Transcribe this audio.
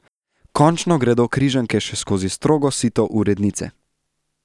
Končno gredo križanke še skozi strogo sito urednice.